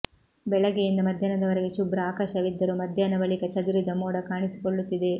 ಬೆಳಗ್ಗೆಯಿಂದ ಮಧ್ಯಾಹ್ನದವರೆಗೆ ಶುಭ್ರ ಆಕಾಶವಿದ್ದರೂ ಮಧ್ಯಾಹ್ನ ಬಳಿಕ ಚದುರಿದ ಮೋಡ ಕಾಣಿಸಿಕೊಳ್ಳುತ್ತಿದೆ